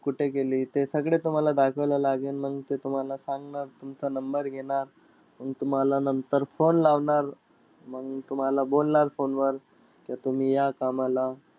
कुठं केली ते सगळं तुम्हाला दाखवायला लागेन. मंग ते तुम्हाला सांगणार. तुमचा number घेणार. मंग तुम्हाला नंतर phone लावणार. मंग तुम्हाला बोलणार phone वर, की तुम्ही या कामाला.